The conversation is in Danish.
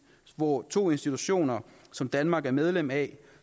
hvor to institutioner som danmark er medlem af